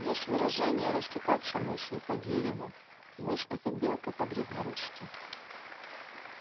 есть выражение растекаться мысью по древу мысь это белка по-древнерусски